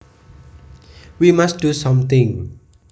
We must do something